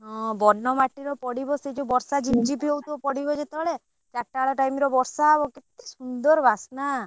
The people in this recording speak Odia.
ହଁ ବନ ମାଟିରେ ପଡିବ ସେ ଯଉ ବର୍ଷା ଝିପ ଝିପ ହଉଥିବ ପଡିବ ଯେତେ ବେଳେ ଚାରଟା ବେଳ time ରେ ବର୍ଷା ହବ କେତେ ସୁନ୍ଦର ବାସ୍ନା।